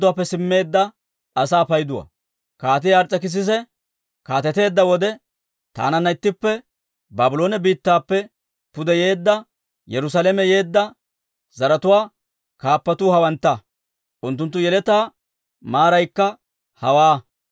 Kaatii Ars's'ekissisi kaateteedda wode taananna ittippe Baabloone biittappe pude yeedda, Yerusaalame yeedda zaratuwaa kaappatuu hawantta; unttunttu yeletaa maaraykka hawaa: